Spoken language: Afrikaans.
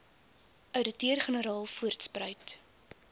ouditeur generaal voortspruit